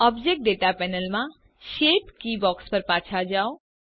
object data panel માં shape keys box પર પાછા જાઓ